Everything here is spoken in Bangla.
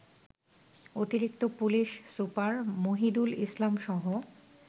অতিরিক্ত পুলিশ সুপার মহিদুল ইসলামসহ